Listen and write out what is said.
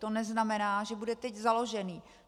To neznamená, že bude teď založený.